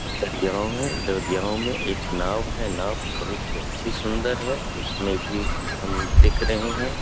दरियाव है दरियाव मे एक नाव है नाव पे बहुत अच्छी सुंदर है उसमे भी हम दिख रहे है।